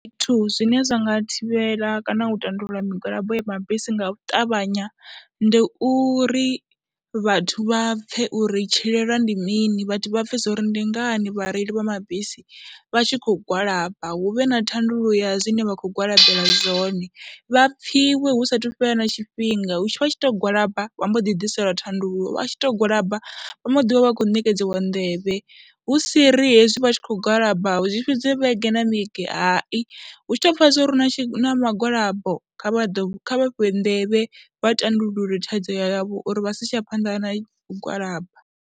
Zwithu zwine zwa nga thivhela kana u tandulula migwalabo ya mabisi nga u ṱavhanya ndi uri vhathu vha pfhe uri tshilwelwa ndi mini, vhathu vha pfhe uri ndi ngani vhareili vha mabisi vha tshi khou gwalaba, hu vhe na thandululo ya zwine vha khou gwalabelwa zwone. Vha pfhiwe hu saathu fhela na tshifhinga, hezwi vha tshi tou gwalaba, vha mbo ḓi ḓiselwa thandululo, vha tshi tou gwalaba vha mbo ḓi vha vha khou ṋekedziwa nḓevhe, hu si ri hezwi vha tshi khou gwalaba zwi fhedzwe vhege na vhege, hai, hu tshi tou pfha zwa uri hu na mugwalabo kha vha ḓo, kha vha fhiwe nḓevhe vha tandulule thaidzo yavho uri vha si tsha isa phanḓa na u gwalaba.